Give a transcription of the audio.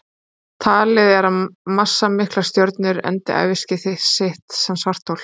Talið er að massamiklar stjörnur endi æviskeið sitt sem svarthol.